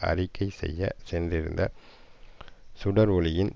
அறிக்கை செய்ய சென்றிருந்த சுடர் ஒளியின்